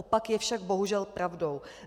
Opak je však bohužel pravdou.